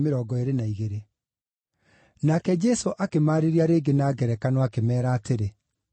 Nake Jesũ akĩmaarĩria rĩngĩ na ngerekano, akĩmeera atĩrĩ,